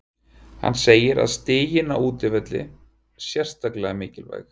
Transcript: Hann segir stigin á útivelli sérstaklega mikilvæg.